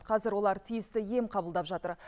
қазір олар тиісті ем қабылдап жатыр